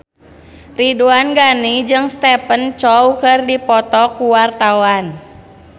Ridwan Ghani jeung Stephen Chow keur dipoto ku wartawan